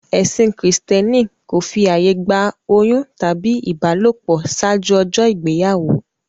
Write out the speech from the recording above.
Ẹṣin kírísítẹ́nì kò fi àyè gba oyún tàbí ìbálòpọ̀ ṣáájú ọjọ́ ìgbéyàwó.